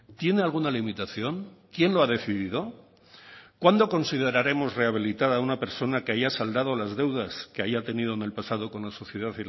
tiene alguna limitación quién lo ha decidido cuándo consideraremos rehabilitada a una persona que haya saldado las deudas que haya tenido en el pasado con la sociedad